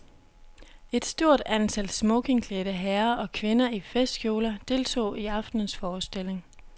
Et stort antal smokingklædte herrer og kvinder i festkjoler deltog i aftenens forestilling.